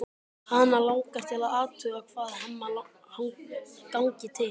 Hana langar til að athuga hvað Hemma gangi til.